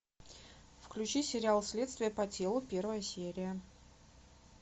включи сериал следствие по телу первая серия